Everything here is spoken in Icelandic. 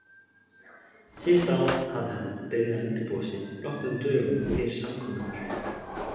Síðustu ár hafði hann byrjað að undirbúa sig nokkrum dögum fyrir samkomurnar.